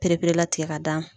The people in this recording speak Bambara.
Pereperelatigɛ ka da ma.